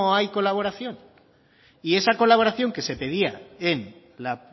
hay colaboración y esa colaboración que se pedía en la